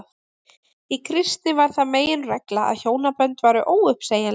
í kristni varð það meginregla að hjónabönd væru óuppsegjanleg